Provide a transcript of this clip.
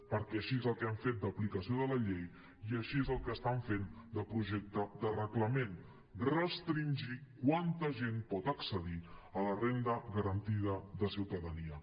perquè això és el que han fet en l’aplicació de la llei i això és el que estan fent en el projecte de reglament restringir quanta gent pot accedir a la renda garantida de ciutadania